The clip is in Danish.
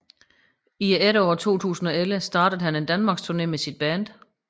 I efteråret 2011 startede han en danmarksturné med sit band